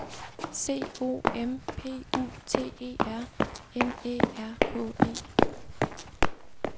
C O M P U T E R M Æ R K E